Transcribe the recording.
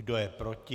Kdo je proti?